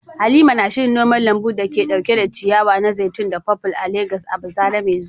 Halima na shirin noman lambun da ke dauke da ciyawa na zaitun da purple a Legas a bazara mai zuwa.